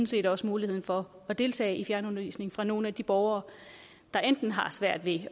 set også muligheden for at deltage i fjernundervisning for nogle af de borgere der enten har svært ved